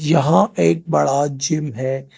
यहां एक बड़ा जिम है।